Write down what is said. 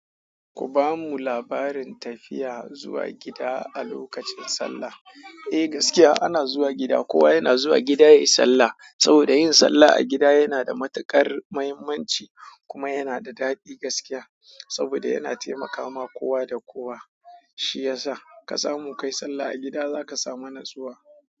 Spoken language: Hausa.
Ku bamu labarin tafiya zuwa gida a lokacin sallah. Eh gaskiya ana zuwa gida, kowa yana zuwa gida yayi sallah saboda yin sallah a gida yana da matuƙar muhimmanci kuma yana da daɗi gaskiya. Saboda yana taimakawa kowa da kowa, shi yasa ka samu kayi sallah a gida zaka samu natsuwa.